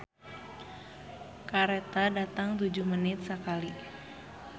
"Kareta datang tujuh menit sakali"